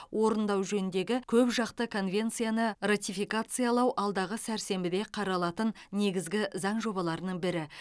орындау жөніндегі көпжақты конвенцияны ратификациялау алдағы сәрсенбіде қаралатын негізгі заң жобаларының бірі